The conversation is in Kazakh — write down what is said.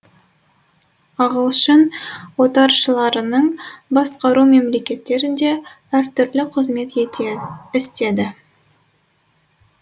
ағылшын отаршыларының басқару мемлекеттерінде әр түрлі қызмет істеді